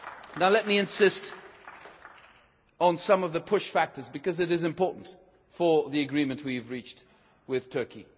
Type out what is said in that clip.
Now let me insist on some of the push factors, because it is important for the agreement we have reached with Turkey.